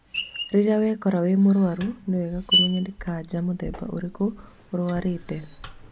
Rĩrĩa wekora wĩ mũrwaru nĩ wega kũmenya nĩ kanja mũthemba ũrĩkũ ũrwarĩte